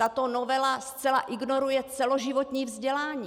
Tato novela zcela ignoruje celoživotní vzdělání.